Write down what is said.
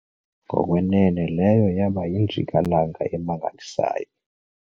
Ngokwenene leyo yaba yinjikalanga emangalisayo.